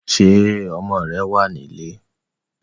Ṣé ọmọ rẹ̀ wá nílé?